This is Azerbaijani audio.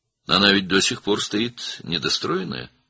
O axı hələ də tikintisi bitməmiş qalır?